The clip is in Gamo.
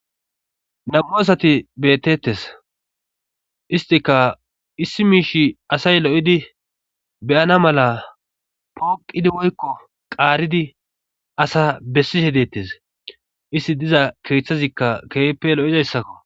Nam'u asati beetettes istika issi miishi asay lo7idi beyana mala pooqidi woykko qaaridi asa bessihe deettes isti diza keeththazikka keeppe lo7izayssakko